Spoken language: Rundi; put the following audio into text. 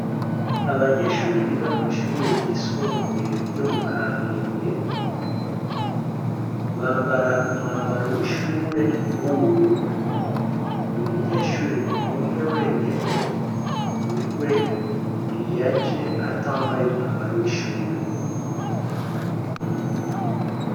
Abanyeshure biga kwishure ryisumbuye ryomu kamenge bambara umwambaro wishure wubururu umunyeshure umwe wenyene niwe yaje atambaye umwambaro wishure